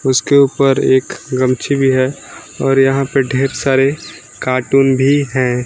उसके ऊपर एक ग़मछी भी है और यहां पे ढेर सारे कार्टून भी हैं।